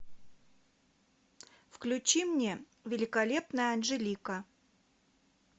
включи мне великолепная анжелика